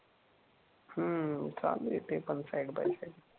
हम्म. चालू ए ते पण साईड बाय साईड